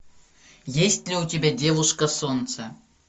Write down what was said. есть ли у тебя девушка солнце